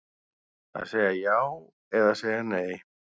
Að segja já eða segja nei